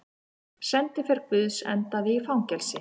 Sendiför guðs endaði í fangelsi